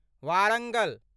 Warangal